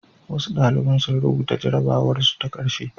Wasu ɗalibai sun rubuta jarrabwarsu ta ƙarshe.